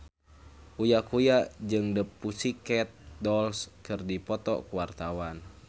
Uya Kuya jeung The Pussycat Dolls keur dipoto ku wartawan